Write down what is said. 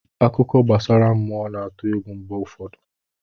Akụkọ gbasara mmụọ na-atụ egwu mgbe ụfọdụ.